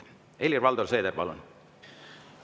Helir-Valdor Seeder, palun!